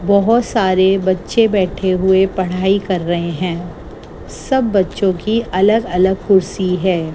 बहोत सारे बच्चे बैठे हुए पढ़ाई कर रहे हैं सब बच्चों की अलग अलग कुर्सी है।